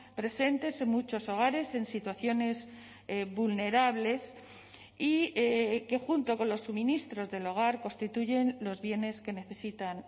presentes en muchos hogares en situaciones vulnerables y que junto con los suministros del hogar constituyen los bienes que necesitan